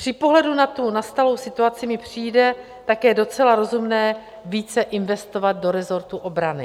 Při pohledu na tu nastalou situaci mi přijde také docela rozumné více investovat do resortu obrany.